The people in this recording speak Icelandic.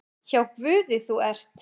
Hjá Guði þú ert.